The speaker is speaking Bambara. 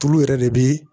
Tulu yɛrɛ de bɛ